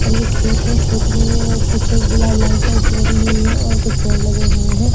और ये खेत है खेत में यह कुछ ग्ला लाइन टाइप्स बनी हुई है और कुछ पेड़ लगे हुए हैं।